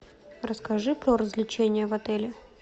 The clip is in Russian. расскажи про развлечения в отеле